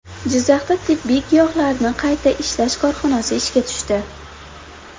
Jizzaxda tabiiy giyohlarni qayta ishlash korxonasi ishga tushdi.